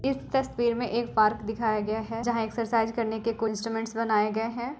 इस तस्वीर में एक पार्क दिखाया गया है जहा एक्सरसाइज करने के कुछ इंस्ट्रूमेंट्स बनाये गए है।